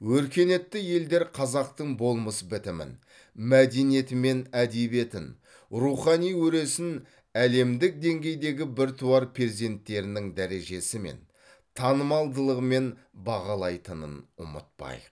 өркениетті елдер қазақтың болмыс бітімін мәдениеті мен әдебиетін рухани өресін әлемдік деңгейдегі біртуар перзенттерінің дәрежесімен танымалдылығымен бағалайтынын ұмытпайық